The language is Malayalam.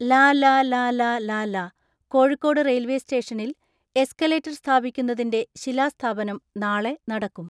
ലലലലലല കോഴിക്കോട് റെയിൽവെ സ്റ്റേഷനിൽ എസ്കലേറ്റർ സ്ഥാപിക്കുന്നതിന്റെ ശിലാസ്ഥാപനം നാളെ നടക്കും.